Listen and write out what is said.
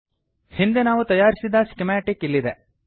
ಹಿಂದೆ ನಾವು ತಯಾರಿಸಿದ ಸ್ಕಿಮಾಟಿಕ್ ಇಲ್ಲಿದೆ